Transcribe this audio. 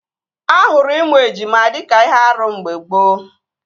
Ahụrụ ịmụ ejima dịka ihe árú mgbe gboo